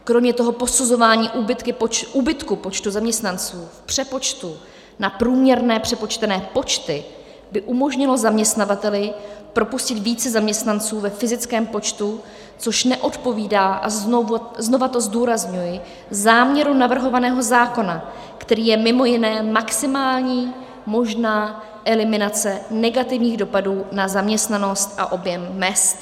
Kromě toho posuzování úbytku počtu zaměstnanců v přepočtu na průměrné přepočtené počty by umožnilo zaměstnavateli propustit více zaměstnanců ve fyzickém počtu, což neodpovídá, a znova to zdůrazňuji, záměru navrhovaného zákona, kterým je mimo jiné maximální možná eliminace negativních dopadů na zaměstnanost a objem mezd.